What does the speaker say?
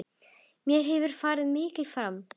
Mér hefur farið mikið fram.